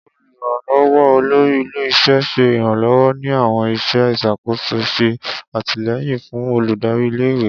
Oluranlọwọ olori ile-iṣẹ ṣe iranlọwọ ni awọn iṣẹ iṣakoso, ṣe atilẹyin fun oludari ìle-ìwe.